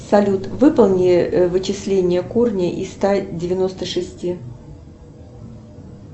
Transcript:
салют выполни вычисление корня из ста девяносто шести